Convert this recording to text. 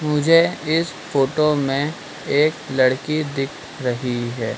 मुझे इस फोटो में एक लड़की दिख रही है।